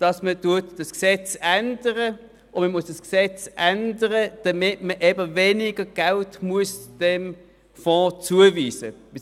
Man muss das Gesetz ändern, wenn man dem Fonds weniger Geld zuweisen will.